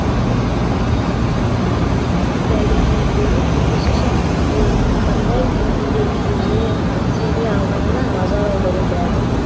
күз әлеміне еніп осы шақтың құбылысын қандай деңгейде сезіне алғанына назар аудару ләзім